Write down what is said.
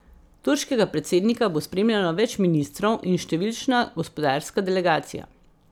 Turškega predsednika bo spremljalo več ministrov in številčna gospodarska delegacija.